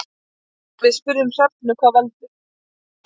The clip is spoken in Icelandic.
Við spurðum Hrefnu hvað veldur.